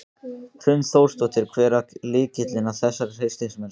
Hrund Þórsdóttir: Hver er lykillinn að þessari hreystimennsku?